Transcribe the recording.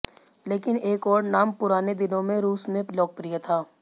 लेकिन एक और नाम पुराने दिनों में रूस में लोकप्रिय था